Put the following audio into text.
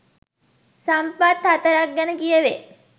සම්පත් 04 ක් ගැන කියැවේ.